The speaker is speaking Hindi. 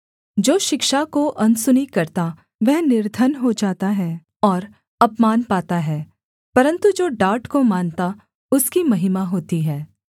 जो शिक्षा को अनसुनी करता वह निर्धन हो जाता है और अपमान पाता है परन्तु जो डाँट को मानता उसकी महिमा होती है